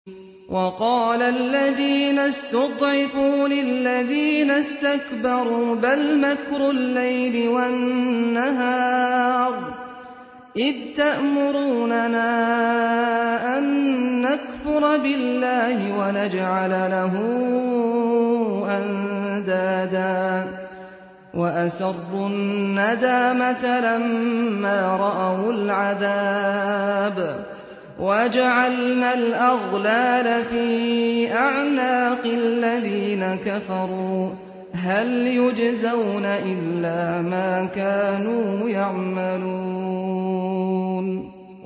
وَقَالَ الَّذِينَ اسْتُضْعِفُوا لِلَّذِينَ اسْتَكْبَرُوا بَلْ مَكْرُ اللَّيْلِ وَالنَّهَارِ إِذْ تَأْمُرُونَنَا أَن نَّكْفُرَ بِاللَّهِ وَنَجْعَلَ لَهُ أَندَادًا ۚ وَأَسَرُّوا النَّدَامَةَ لَمَّا رَأَوُا الْعَذَابَ وَجَعَلْنَا الْأَغْلَالَ فِي أَعْنَاقِ الَّذِينَ كَفَرُوا ۚ هَلْ يُجْزَوْنَ إِلَّا مَا كَانُوا يَعْمَلُونَ